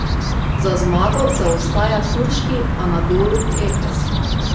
Za zmago zaostaja turški Anadolu Efes.